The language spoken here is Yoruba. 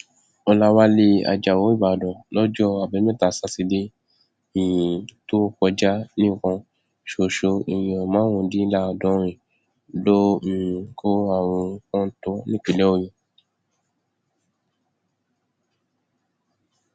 ọlàwálẹ ajáò ìbàdàn lọjọ àbámẹta sátidé um tó kọjá nìkan ṣoṣo èèyàn márùndínláàádọrin ló um kó àrùn kọńtò nípínlẹ ọyọ